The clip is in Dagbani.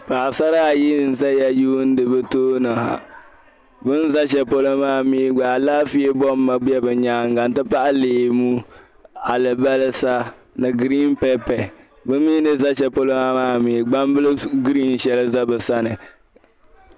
Paɣi Sara ayi n ʒɛya n yuuni bɛ tooni bɛ ʒɛ shɛli polɔ maa alaafee bɔma bɔma bɛ nyaanŋa n ti pahi leemu alibalisa ni giriinpɛpɛ bɛ mi ni ʒɛ polɔmaa ha gbanbili giriin shɛli ʒɛ bɛ sani